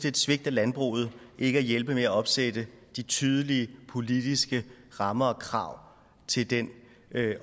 et svigt af landbruget ikke at hjælpe med at opsætte tydelige politiske rammer og krav til den